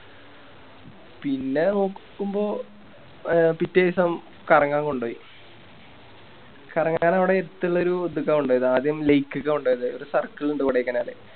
പിന്നെ നോക്കുമ്പോ പിറ്റേസം കറങ്ങാൻ കൊണ്ടോയി കറങ്ങാനാവിടെ അടുത്തുള്ളൊരു ഇത്ക്ക കൊണ്ടൊയെ ആദ്യം Lake ക്ക കൊണ്ടോയത് ഒരു Circle ഇണ്ട് കൊടൈക്കനാലില്